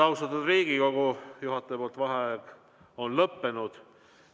Austatud Riigikogu, juhataja vaheaeg on lõppenud.